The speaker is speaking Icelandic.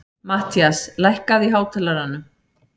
Mattías, lækkaðu í hátalaranum.